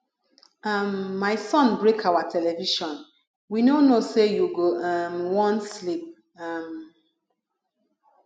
um my son break our television we no know say you go um wan sleep um